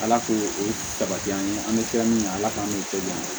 Ala k'o sabati an ye an bɛ tila min ala k'an kisi